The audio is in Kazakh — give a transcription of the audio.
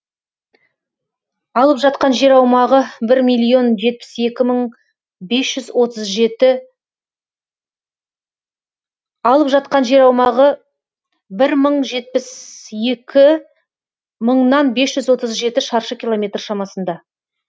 алып жатқан жер аумағы шаршы километр шамасында